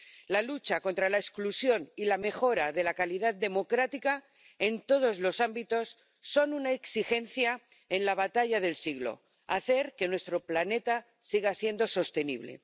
La lucha contra la exclusión y la mejora de la calidad democrática en todos los ámbitos son una exigencia en la batalla del siglo hacer que nuestro planeta siga siendo sostenible.